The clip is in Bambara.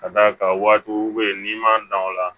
Ka d'a kan waatiw bɛ yen n'i m'an dan o la